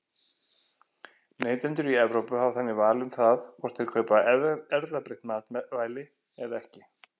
Neytendur í Evrópu hafa þannig val um það hvort þeir kaupa erfðabreytt matvæli eða ekki.